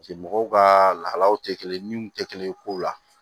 mɔgɔw ka lahalaw tɛ kelen min tɛ kelen ye kow la